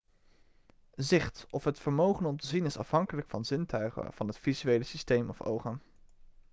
zicht of het vermogen om te zien is afhankelijk van zintuigen van het visuele systeem of ogen